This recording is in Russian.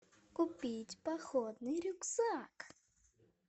купить походный рюкзак